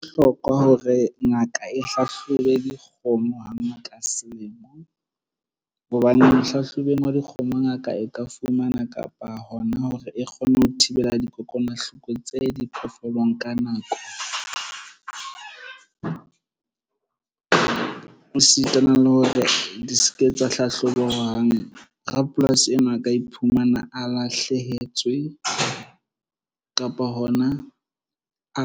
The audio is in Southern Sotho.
Ho bohlokwa hore ngaka e hlahlobe dikgomo hangata selemong hobane ho hlahlobeng wa dikgomo. Ngaka e ka fumana kapa hona hore e kgone ho thibela dikokwanahloko tse diphoofolong ka nako e sitana le hore di se ke tsa hlahlobo hang. Rapolasi enwa a ka iphumana a lahlehetswe kapa hona a